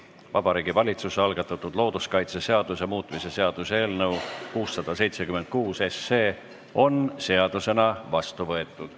Vabariigi Valitsuse algatatud looduskaitseseaduse muutmise seaduse eelnõu 676 on seadusena vastu võetud.